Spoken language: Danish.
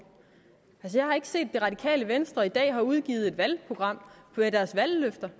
vil jeg har ikke set at det radikale venstre i dag har udgivet et valgprogram med deres valgløfter